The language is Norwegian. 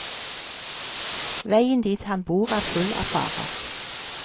Veien dit han bor er full av farer.